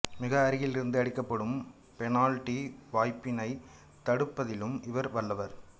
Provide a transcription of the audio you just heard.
மிக அருகில் இருந்து அடிக்கப்படும் பெனால்டி வாய்ப்பினை தடுப்பதிலும் இவர் வல்லவர்